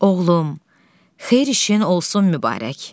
Oğlum, xeyir işin olsun mübarək.